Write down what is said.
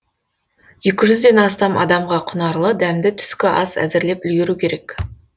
екі жүзден астам адамға құнарлы дәмді түскі ас әзірлеп үлгеру керек